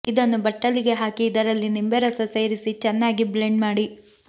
ಇದನ್ನು ಬಟ್ಟಲಿಗೆ ಹಾಕಿ ಇದರಲ್ಲಿ ನಿಂಬೆ ರಸ ಸೇರಿಸಿ ಚೆನ್ನಾಗಿ ಬ್ಲೆಂಡ್ ಮಾಡಿ